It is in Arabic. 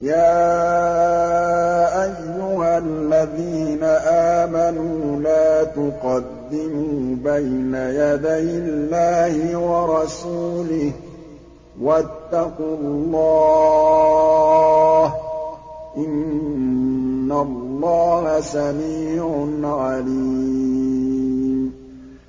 يَا أَيُّهَا الَّذِينَ آمَنُوا لَا تُقَدِّمُوا بَيْنَ يَدَيِ اللَّهِ وَرَسُولِهِ ۖ وَاتَّقُوا اللَّهَ ۚ إِنَّ اللَّهَ سَمِيعٌ عَلِيمٌ